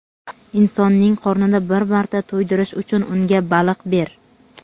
Insonning qornini bir marta to‘ydirish uchun unga baliq ber.